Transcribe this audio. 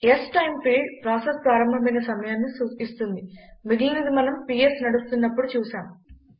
స్టైమ్ field process ప్రారంభమైన సమయాన్ని ఇస్తుంది మిగిలినది మనం పిఎస్ నడుస్తున్నపుడు చూశాం